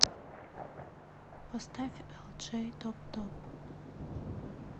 поставь элджей топ топ